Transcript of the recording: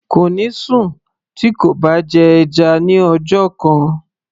kò ní sùn tí kò bá jẹ́ ẹja ní ọjọ́ kan